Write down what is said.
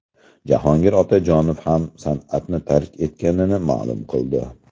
Jahongir Otajonov ham san’atni tark etganini ma’lum qildi .